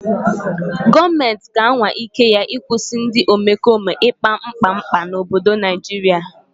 Gọọmenti ga-anwa ike ya ịkwụsị ndị omekome ikpa mkpa mkpa n'obodo Naijiria.